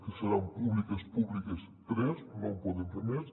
que seran públi·ques públiques tres no en podem fer més